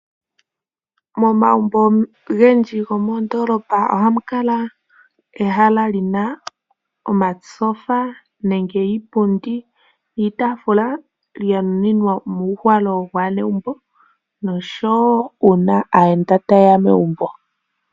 Momagumbo ogendji gomoondoolopa ohamu kala ehala li na omatyofa nenge iipundi niitaafula ya nuninwa omuuhalo gwaanegumbo noshowo uuna aayenda taye ya megumbo.